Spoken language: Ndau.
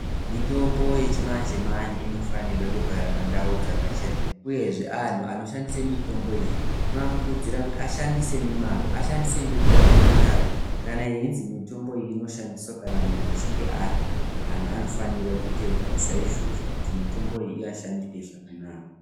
Mitombo yechimanje manje inofanirwe kugara pandau dzakachena uyezve anhu anoshandise mitombo iyi tinovakurudzira kuti ashandise nemazvo, ashandise ngenguwa yakatarwa kana yeinzi mitombo iyi inoshandiswa kana munhu achinge arya, anhu anofanire kuteedzera saizvozvo kuti mitombo iyi ivashandire zvakanaka.